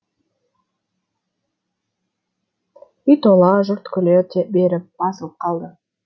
үй тола жұрт күле беріп басылып қалды